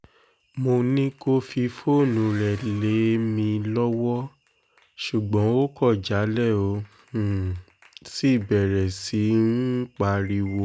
mo ní kó fi fóònù rẹ̀ lé mi lọ́wọ́ ṣùgbọ́n ó kọ̀ jálẹ̀ ó um sì bẹ̀rẹ̀ sí í um pariwo